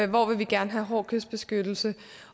hvor vil vi gerne have hård kystbeskyttelse